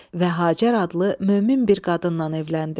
Və Hacər adlı mömin bir qadınla evləndi.